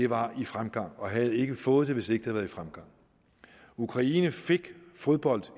var i fremgang og kina havde ikke fået dem hvis ikke været i fremgang ukraine fik fodbold